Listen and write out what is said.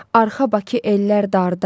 Arxa Bakı ellər darda.